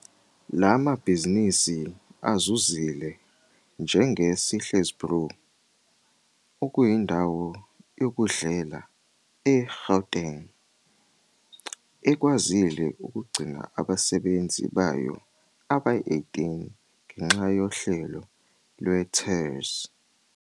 La mabhizinisi azuzile njenge-Sihle's Brew, okuyi ndawo yokudlela e-Gauteng, ekwazile ukugcina abasebenzi bayo abayi-18 ngenxa yohlelo lwe-TERS.